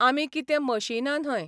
आमी कितें मशिनां न्हय.